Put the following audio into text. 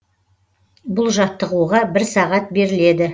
бұл жаттығуға бір сағат беріледі